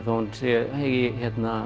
þó að hún eigi